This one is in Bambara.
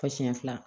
Fɔ siɲɛ fila